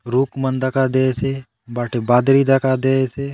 रूख मन दखा देयसे बाटे बादरी दखा देयसे।